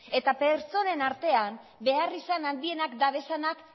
eta pertsonen artean beharrizan handienak dabezanak